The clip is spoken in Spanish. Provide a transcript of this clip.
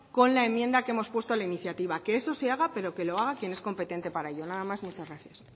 con la enmienda que hemos puesto a la iniciativa que eso se haga pero que lo haga quien es competente para ello nada más muchas gracias